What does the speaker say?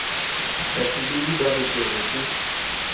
bafubedi ba re tlere ke